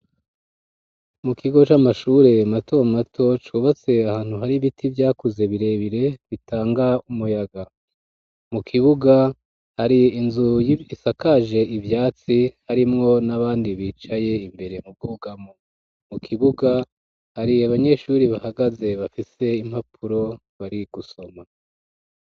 Mu kigo c'amashure mato mato cubatse ahantu hari ibiti vyakuze birebire bitanga umuyaga mu kibuga hari inzu isakaje ivyatsi harimwo n'abandi bicaye imbere mu bwugamu, mu kibuga hariye abanyeshuri bahagaze bafise impapu uro bari gusoma.